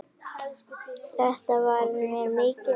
Þetta varð mér mikið áfall.